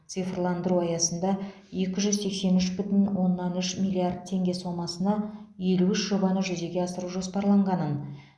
цифрландыру аясында екі жүз сексен үш бүтін оннан үш миллиард теңге сомасына елу үш жобаны жүзеге асыру жоспарланғанын